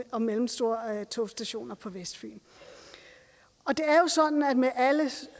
og mellemstore togstationer på vestfyn og det er jo sådan med alle